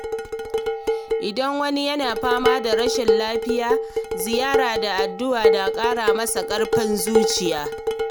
Idan wani yana fama da rashin lafiya, ziyara da addu’a na ƙara masa ƙarfin zuciya.